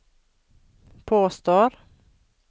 påstår